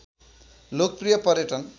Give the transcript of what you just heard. लोकप्रिय पर्यटन